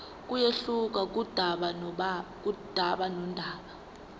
kuyehluka kudaba nodaba